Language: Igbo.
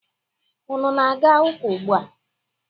Unu na-aga ụka ugbua?